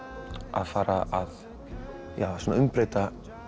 að fara að umbreyta